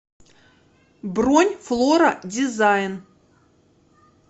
бронь флора дизайн